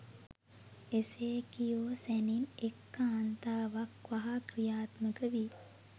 එසේ කියූ සැණින් එක් කාන්තාවක් වහා ක්‍රියාත්මක වී